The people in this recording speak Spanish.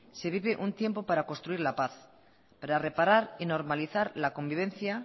se vive un tiempo para construir la paz para reparar y normalizar la convivencia